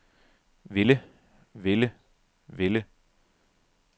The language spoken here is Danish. ville ville ville